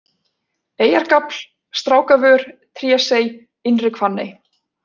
Eyjargafl, Strákavör, Trésey, Innri-Hvanney